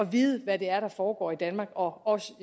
vide hvad det er der foregår i danmark og